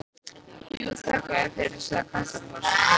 Jú, þakka þér fyrir sagði Kata brosandi.